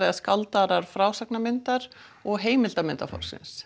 eða skáldaðrar frásagnamyndar og